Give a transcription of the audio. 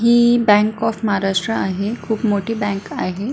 He bank of Maharashtra आहे खुप मोठी बँक आहे.